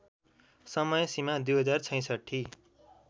समय सीमा २०६६